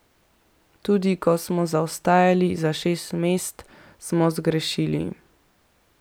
Tudi, ko smo zaostajali za šest, smo zgrešili.